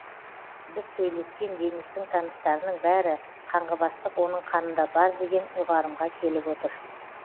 біз сөйлескен денистің таныстарының бәрі қанғыбастық оның қанында бар деген ұйғарымға келіп отыр